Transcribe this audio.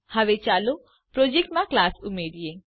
હવે ચાલો પ્રોજેક્ટમાં ક્લાસ ઉમેરીએ